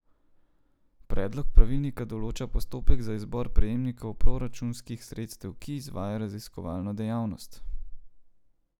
Predlog pravilnika določa postopek za izbor prejemnikov proračunskih sredstev, ki izvajajo raziskovalno dejavnost.